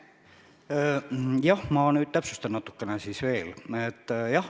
Jah, ma nüüd täpsustan siis natuke veel.